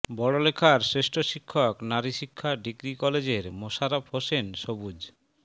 বড়লেখার শ্রেষ্ঠ শিক্ষক নারী শিক্ষা ডিগ্রি কলেজের মোশারফ হোসেন সবুজ